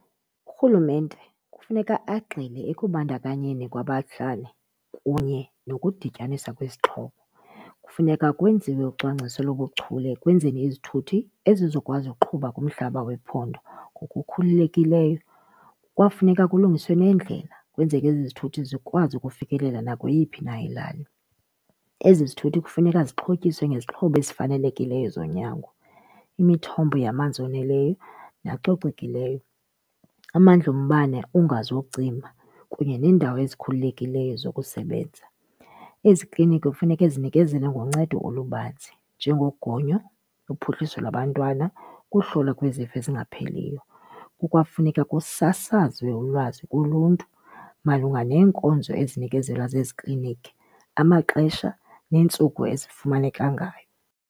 Urhulumente kufuneka agxile ekubandakanyeni kwabahlali kunye nokudityaniswa kwesixhobo. Kufuneka kwenziwe ucwangciso lobuchule ekwenzeni izithuthi ezizokwazi ukuqhuba kumhlaba wephondo ngokukhululekileyo. Kwawufuneka kulungiswe nendlela kwenzeke ezi zithuthi zikwazi ukufikelela nakweyiphi na ilali. Ezi zithuthi kufuneka zixhotyiswe ngezixhobo ezifanelekileyo zonyango, imithombo yamanzi oneleyo nacocekileyo, amandla ombane ungazocima kunye neendawo ezikhululekileyo zokusebenza. Ezi kliniki kufuneka zinikezele ngoncedo olubanzi njengogonyo, uphuhliso lwabantwana, ukuhlolwa kwezifo ezingapheliyo. Kukwafuneka kusasazwe ulwazi kuluntu malunga neenkonzo ezinikezelwa zezi kliniki, amaxesha neentsuku ezifumaneka ngayo.